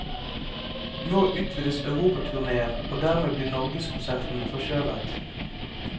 Nå utvides europaturnéen, og dermed blir norgeskonserten forskjøvet.